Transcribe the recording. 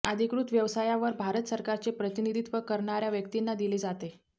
अधिकृत व्यवसायावर भारत सरकारचे प्रतिनिधित्व करणार्या व्यक्तींना दिले जाते